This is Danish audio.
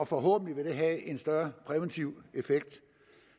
forhåbentlig vil det have en større præventiv effekt